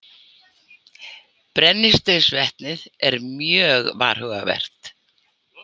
Brennisteinsvetnið er mjög varhugavert.